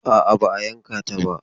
A'a, ba a yanka ta ba.